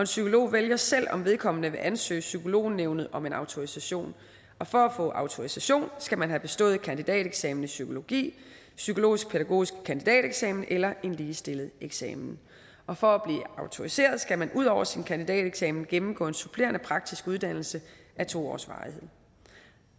psykolog vælger selv om vedkommende vil ansøge psykolognævnet om en autorisation og for at få autorisation skal man have bestået kandidateksamen i psykologi psykologisk pædagogisk kandidateksamen eller en ligestillet eksamen og for at blive autoriseret skal man ud over sin kandidateksamen gennemgå en supplerende praktisk uddannelse af to års varighed